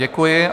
Děkuji.